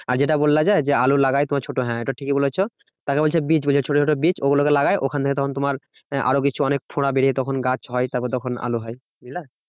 আর যেটা বললে যে আলু লাগায় তোমার ছোট হ্যাঁ ওটা ঠিকই বলেছো। তাকে বলছে বীজ ছোট ছোট বীজ ওগুলোকে লাগায় ওখান থেকে তখন তোমার আরো কিছু অনেক ফোড়া বেরিয়ে তখন গাছ হয় তারপর তখন আলু হয়, বুঝলা